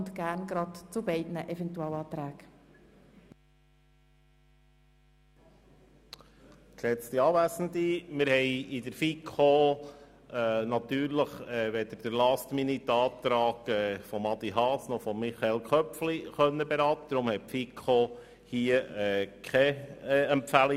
Wir haben in der FiKo natürlich weder den LastMinute-Antrag von Grossrat Haas noch denjenigen von Grossrat Köpfli beraten können.